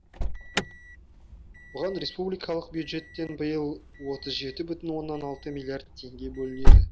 бұған республикалық бюджеттен биыл отыз жеті бүтін оннан жеті миллиард теңге бөлінеді